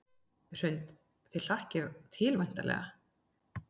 Hrund: Þið hlakkið til væntanlega?